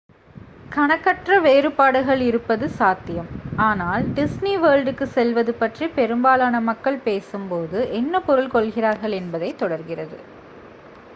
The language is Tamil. """கணக்கற்ற வேறுபாடுகள் இருப்பது சாத்தியம் ஆனால் "" டிஸ்னி வேர்ல்டுக்கு செல்வது""" பற்றி பெரும்பாலான மக்கள் பேசும்போது என்ன பொருள் கொள்கிறார்கள் என்பதே தொடர்கிறது.